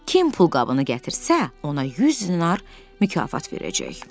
Kim pulqabını gətirsə, ona 100 dinar mükafat verəcək.